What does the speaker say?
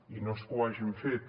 i no és que ho hagin fet